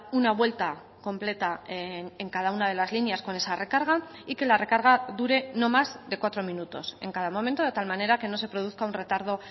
una vuelta completa en cada una de las líneas con esa recarga y que la recarga dure no más de cuatro minutos en cada momento de tal manera que no se produzca un retardo